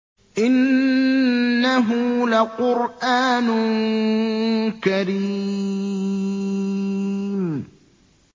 إِنَّهُ لَقُرْآنٌ كَرِيمٌ